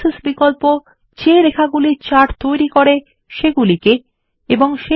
axis বিকল্প যে রেখাগুলি চার্ট তৈরী করে সেগুলিকে এবং